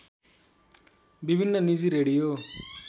विभिन्न निजी रेडियो